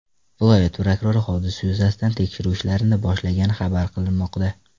Viloyat prokurori hodisa yuzasidan tekshiruv ishlarini boshlagani xabar qilinmoqda.